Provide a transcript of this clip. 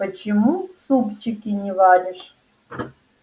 почему супчики не варишь